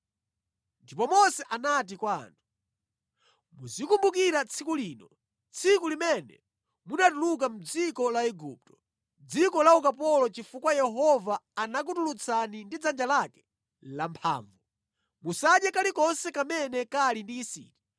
Ndipo Mose anati kwa anthu, “Muzikumbukira tsiku lino, tsiku limene munatuluka mʼdziko la Igupto, dziko la ukapolo chifukwa Yehova anakutulutsani ndi dzanja lake lamphamvu. Musadye kalikonse kamene kali ndi yisiti.